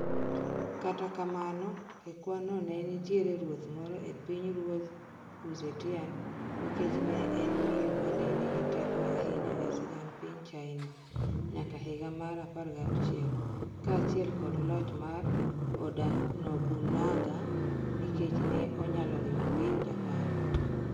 Kata kamano, e kwan no, nenitiere ruoth moro e piny ruodh Wu Zetian nikech ne en miyo mane nigi teko ahinya e sigand piny China nyaka higa mar 16 Kaachiel kod loch mar Oda Nobunaga nikech ne onyalo riwo Japan.